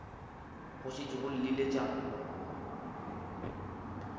go šetše go llile tša